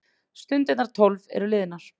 Stundirnar tólf eru liðnar.